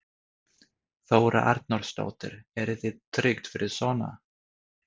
Þóra Arnórsdóttir: Eru þið tryggð fyrir svona?